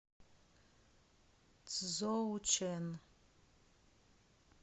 цзоучэн